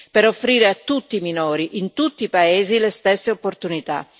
per offrire a tutti i minori, in tutti i paesi, le stesse opportunità.